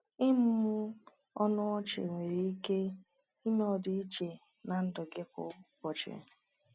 Ịmụmụ ọnụ ọchị nwere ike ime ọdịiche na ndụ gị kwa ụbọchị?